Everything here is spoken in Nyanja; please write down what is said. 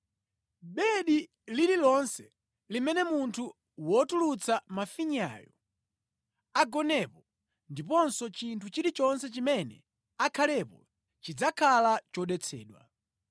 “ ‘Bedi lililonse limene munthu wotulutsa mafinyayo agonapo, ndiponso chinthu chilichonse chimene akhalepo chidzakhala chodetsedwa.